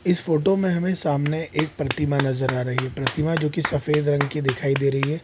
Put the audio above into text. इस फोटो में हमें सामने एक प्रतिमा नजर आ रही है प्रतिमा जो की सफेद रंग की की दिखाई दे रही है।